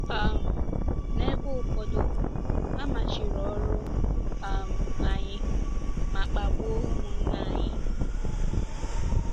um N’ebe ụfọdụ, a machiri ọrụ um anyị ma kpagbuo ụmụnna anyị.